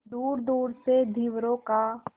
दूरदूर से धीवरों का